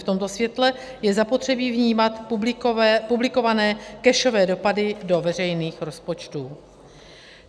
V tomto světle je zapotřebí vnímat publikované cashové dopady do veřejných rozpočtů.